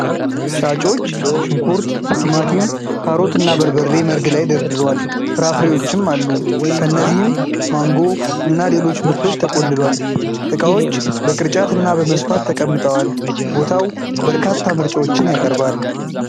ሻጮች ሽንኩርት፣ ቲማቲም፣ ካሮት እና በርበሬ መርግ ላይ ደርድሯል። ፍራፍሬዎችም አሉ፤ ከእነዚህም ማንጎ እና ሌሎች ምርቶች ተቆልሏል። ዕቃዎች በቅርጫት እና በመስፋት ተቀምጠዋል። ቦታው በርካታ ምርጫዎችን ያቀርባል።